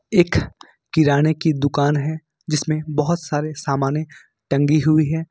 एक किराने की दुकान है जिसमें बहोत सारे सामाने टंगी हुई हैं।